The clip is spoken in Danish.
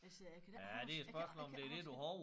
Altså jeg kan da ikke huske jeg kan jeg kan ikke huske